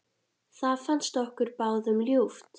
Það fannst okkur báðum ljúft.